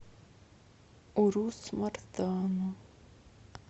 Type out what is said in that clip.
урус мартану